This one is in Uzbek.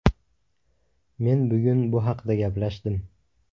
Men bugun bu haqda gaplashdim.